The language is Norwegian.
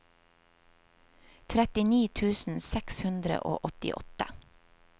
trettini tusen seks hundre og åttiåtte